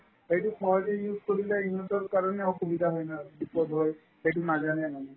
সেইটো সহজে use কৰিলে ইহঁতৰ কাৰণে অসুবিধা হয় না বিপদ হয় সেইটো নাজানে মানে